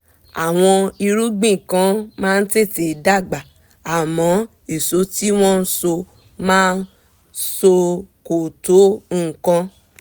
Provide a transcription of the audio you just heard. àwọn irúgbìn kan máa tètè dàgbà àmọ́ èso tí wọ́n máa so kò tó nǹkan